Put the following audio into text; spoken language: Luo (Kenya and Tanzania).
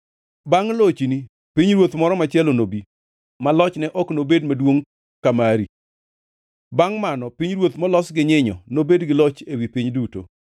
“Bangʼ lochni, pinyruoth moro machielo nobi, ma lochne ok nobed maduongʼ ka mari. Bangʼ mano pinyruoth molos gi nyinyo nobed gi loch ewi piny duto.